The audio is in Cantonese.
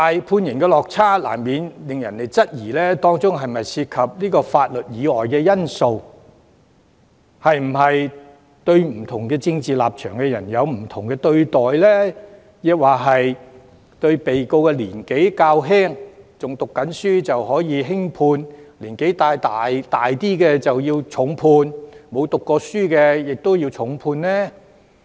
判刑落差這麼大，難免令人質疑當中是否涉及法律以外的因素，是否對政治立場不同的人有不同對待？還是被告年紀較小、仍在求學，便可以輕判，年紀較大或沒有讀過書的人便要重判呢？